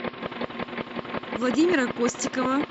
владимира костикова